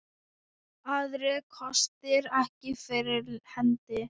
Aðrir kostir ekki fyrir hendi.